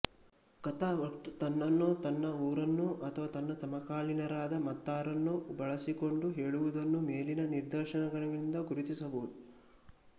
ಕಥಾವಕ್ತೃ ತನ್ನನ್ನೊ ತನ್ನ ಊರನ್ನೊ ಅಥವಾ ತನ್ನ ಸಮಕಾಲೀನರಾದ ಮತ್ತಾರನ್ನೊ ಬಳಸಿಕೊಂಡು ಹೇಳುವುದನ್ನು ಮೇಲಿನ ನಿದರ್ಶನಗಳಿಂದ ಗುರುತಿಸಬಹುದು